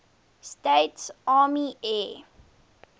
states army air